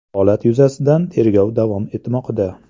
Holat yuzasidan tergov davom etmoqda.